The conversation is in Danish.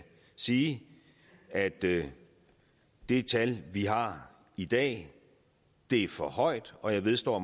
sige at det det tal vi har i dag er for højt og jeg vedstår